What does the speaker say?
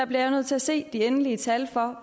bliver jeg nødt til at se de endelige tal for